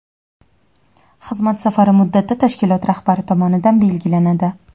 xizmat safari muddati tashkilot rahbari tomonidan belgilanadi.